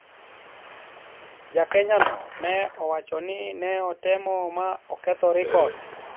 Ja Kenya no ne owacho ni ne otemo ma oketho rekod